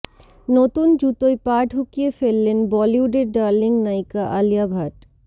নতুন জুতোয় পা ঢুকিয়ে ফেললেন বলিউডের ডার্লিং নায়িকা আলিয়া ভাট